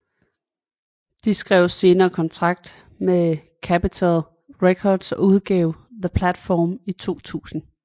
De skrev senere kontrakt med Capital Records og udgav The Platform i 2000